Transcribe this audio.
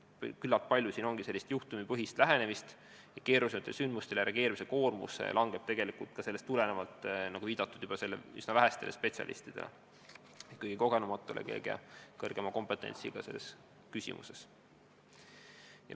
Küllap on tihti tegu juhtumipõhise lähenemisega ja keerulistele sündmustele reageerimise koormus langeb enamasti üsna vähestele spetsialistidele, kõige kogenumatele, kõige kompetentsematele.